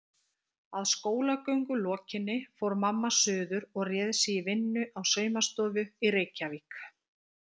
Að skólagöngu lokinni fór mamma suður og réð sig í vinnu á saumastofu í Reykjavík.